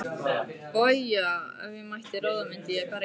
BAUJA: Ef ég mætti ráða myndi ég berja hann.